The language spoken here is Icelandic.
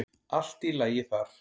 Allt í lagi þar.